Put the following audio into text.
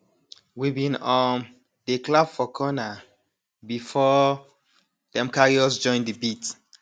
we bin um dey clap for corner before dem carry us join de beat